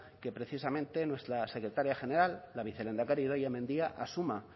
que precisamente nuestra secretaría general la vicelehendakari idoia mendia asuma